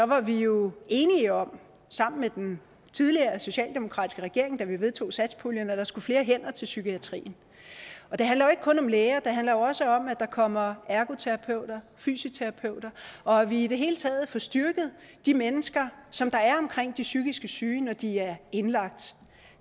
var vi jo enige om sammen med den tidligere socialdemokratiske regering da vi vedtog satspuljen at der skulle flere hænder til psykiatrien det handler jo ikke kun om læger det handler også om at der kommer ergoterapeuter og fysioterapeuter og at vi i det hele taget får styrket de mennesker som er omkring de psykisk syge når de er indlagt